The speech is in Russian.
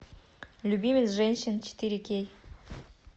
любимец женщин четыре кей